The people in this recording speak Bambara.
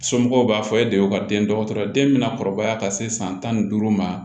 Somɔgɔw b'a fɔ e de y'o ka den dɔgɔtɔrɔ ye den bɛ na kɔrɔbaya ka se san tan ni duuru ma